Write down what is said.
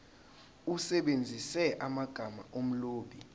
usebenzise amagama omlobi